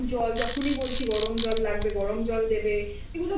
heater দেবে তারপরে গরম জল যখনি বলছি গরম জল লাগবে